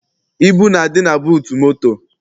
Ibu na-adị na buutu moto.